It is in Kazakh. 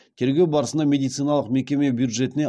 тергеу барысында медициналық мекеме бюджетіне